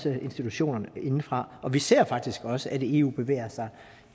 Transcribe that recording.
institutionerne indefra og vi ser faktisk også at eu bevæger sig